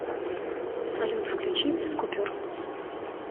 салют включи без купюр